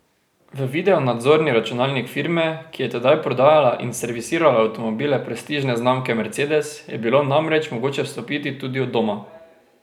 V videonadzorni računalnik firme, ki je tedaj prodajala in servisirala avtomobile prestižne znamke mercedes, je bilo namreč mogoče vstopiti tudi od doma.